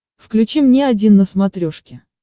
включи мне один на смотрешке